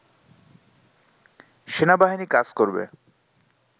সেনাবাহিনী কাজ করবে